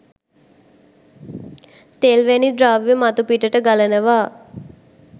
තෙල් වැනි ද්‍රවය මතුපිටට ගලනවා